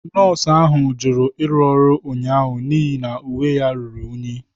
Nọọsụ ahụ jụrụ ịrụ ọrụ ụnyaahụ n'ihi na uwe ya ruru unyi.